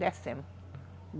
Descemos.